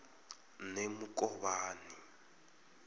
nemukovhani